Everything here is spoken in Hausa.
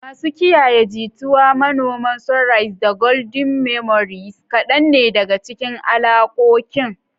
"Masu kiyaye jituwa," "Manoman Sunrise," da "Golden Memories" kadan ne daga cikin alakokin.